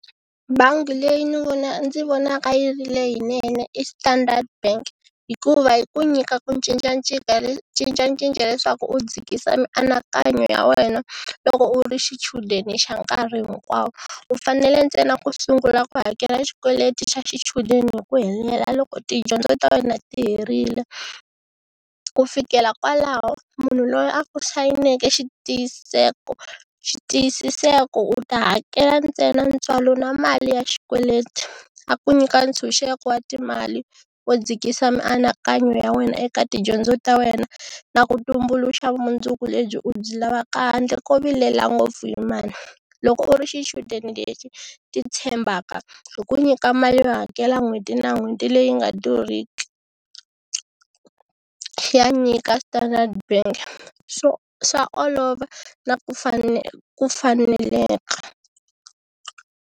Bangi leyi ni ndzi vonaka yi ri leyinene i Standard bank hikuva hi ku nyika ku cincacinca leswaku u dzikisa mianakanyo ya wena loko u ri xichudeni xa nkarhi hinkwawo, u fanele ntsena ku sungula ku hakela xikweleti xa xichudeni hi ku helela loko tidyondzo ta wena ti herile. Ku fikela kwalaho munhu loyi a sayineke xitiyiseko xitiyisiseko u ta hakela ntsena ntswalo na mali ya xikweleti a ku nyika ntshunxeko wa timali u dzikisa mianakanyo ya wena eka tidyondzo ta wena na ku tumbuluxa vumundzuku lebyi u byi lavaka handle ko vilela ngopfu hi mali. Loko u ri xichudeni lexi titshembaka hi ku nyika mali yo hakela n'hweti na n'hweti leyi nga durhiki, ya nyika Standard bank so swa olova na ku ku faneleka.